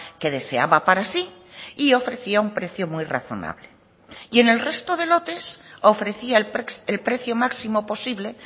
que deseaba para sí y ofrecía un precio muy razonable y en el resto de lotes ofrecía el precio máximo posible